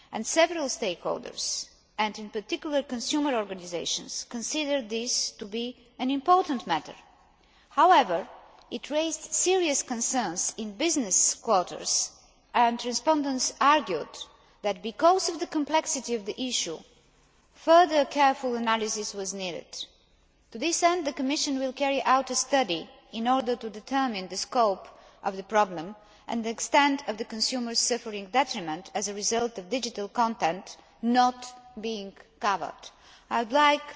Several stakeholders, and in particular consumer organisations, consider this to be an important matter. However, it raised serious concerns in business quarters, and respondents argued that because of the complexity of the issue further careful analysis was needed. To this end, the Commission will carry out a study in order to determine the scope of the problem and the extent of the consumers suffering detriment as a result of digital content not being covered. I would